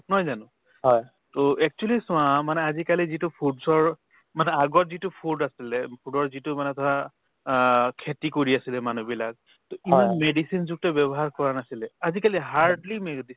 নহয় জানো to actually চোৱা মানে আজিকালি যিটো foods ৰ মানে আগত যিটো food আছিলে food ৰ যিটো মানে ধৰা অ খেতি কৰি আছিলে মানুহবিলাক to ইমান medicine যুক্ত ব্যৱহাৰ কৰা নাছিলে আজিকালি hardly medicine